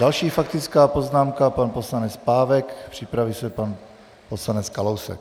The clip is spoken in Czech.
Další faktická poznámka, pan poslanec Pávek, připraví se pan poslanec Kalousek.